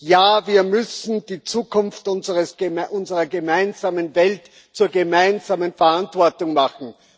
Ja, wir müssen die Zukunft unserer gemeinsamen Welt zur gemeinsamen Verantwortung machen.